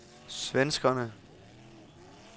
svenskerne